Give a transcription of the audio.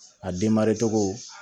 A denmari cogo